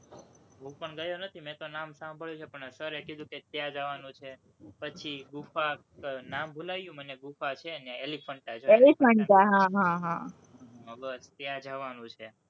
હું પણ ગયો નથી, મેં તો નામ સાંભળ્યું છે, પણ sir એ કીધું કે ત્યાં જવાનું છે, પછી ગુફા, નામ ભુલાઈ ગયું મને ગુફા છે ત્યાં એલિફન્ટા હં બસ ત્યાં જવાનું છે.